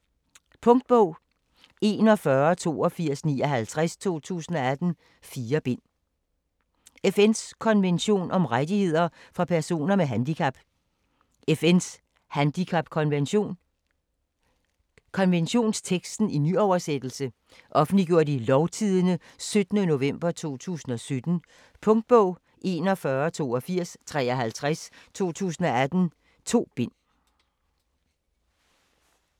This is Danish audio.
FN’s konvention om rettigheder for personer med handicap: FN's handicapkonvention Konventionsteksten i nyoversættelse. Offentliggjort i Lovtidende 17. nov. 2017. Punktbog 418253 2018. 2 bind.